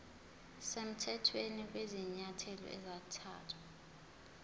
semthethweni kwezinyathelo ezathathwa